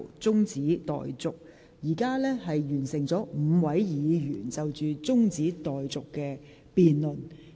現在已有5位議員就中止待續議案發言。